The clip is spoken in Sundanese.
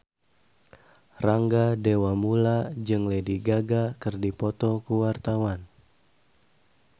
Rangga Dewamoela jeung Lady Gaga keur dipoto ku wartawan